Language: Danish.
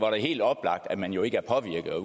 er helt oplagt at man jo ikke er påvirket og at